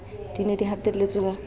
di ne di hatelletswe ka